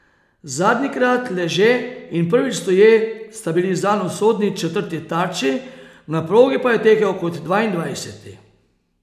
Zadnjikrat leže in prvič stoje sta bili zanj usodni četrti tarči, na progi pa je tekel kot dvaindvajseti.